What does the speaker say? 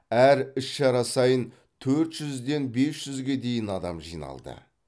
әр іс шара сайын төрт жүзден бес жүзге дейін адам жиналды